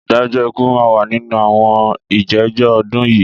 Ìdájọ́ ikú máa wà nínú àwọn ìjẹ́jọ́ ọdún yìí.